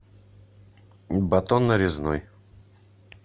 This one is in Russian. батон нарезной